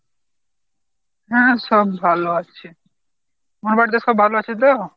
হাঁ, সব ভাল আছে। তোমার বাড়িতে সব ভাল আছে তো?